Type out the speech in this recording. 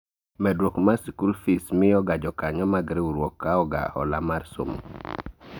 Medruok mar sikul fis miyo ga jokanyo mag riwruok kawo ga hola mar somo